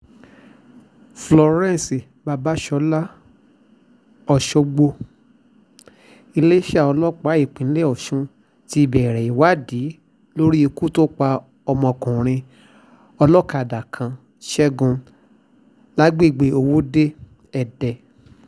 florence babasola ọ̀ṣọ́gbó iléeṣẹ́ ọlọ́pàá ìpínlẹ̀ ọ̀sùn ti bẹ̀rẹ̀ ìwádìí lórí ikú tó pa ọmọkùnrin olókàdá kan ṣẹ́gun lágbègbè òwòde-èdè